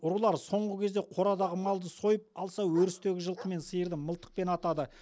ұрылар соңғы кезде қорадағы малды сойып алса өрістегі жылқы мен сиырды мылтықпен атады